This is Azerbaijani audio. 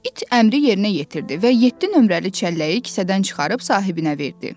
İt əmri yerinə yetirdi və yeddi nömrəli çəlləyi kisədən çıxarıb sahibinə verdi.